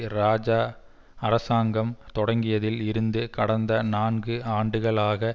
இராஜா அரசாங்கம் தொடங்கியதில் இருந்து கடந்த நான்கு ஆண்டுகளாக